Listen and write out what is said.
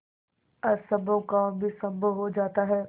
असम्भव काम भी संभव हो जाता है